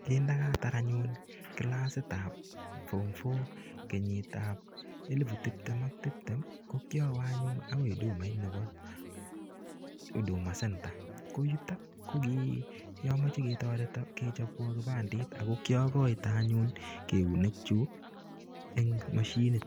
Kindakatar anyun kilasit ab form four kenyit ab 2020, ko kiawe anyun agoi hudumait nebo huduma centre. Koyutok ko kiamoche toreto kechobwon kipandet, ago kiaokoite anyun eunekyuk en mashinit.